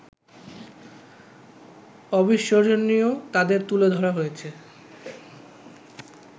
অবিস্মরণীয় তাঁদের তুলে ধরা হয়েছে